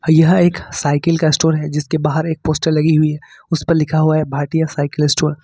यह एक साइकिल का स्टोर है जिसके बाहर एक पोस्टर लगी हुई हैं उस पर लिखा हुआ है भारटिया साइकिल स्टोर ।